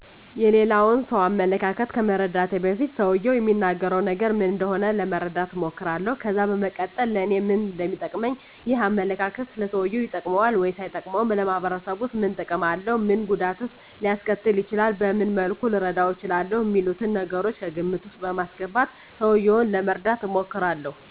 የሌላን ሰው አመለካከት ከመረዳቴ በፊት ሰውየው እሚናገረው ነገር ምን እንደሆነ ለመረዳት እሞክራለሁ ከዛ በመቀጠልም ለኔ ምን እንደሚጠቅመኝ፣ ይህ አመለካከት ለሰውየው ይጠቅመዋል ወይስ አይጠቅመውም፣ ለማህበረሰቡስ ምን ጥቅም አለው፣ ምን ጉዳትስ ሊያስከትል ይችላል፣ በምን መልኩስ ልረዳው እችላለሁ፣ አሚሉትን ነገሮች ከግምት ውስጥ በማስገባት ሰውየውን ለመርዳት እሞክራለሁ።